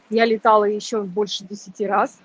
я летала ещё больше десяти раз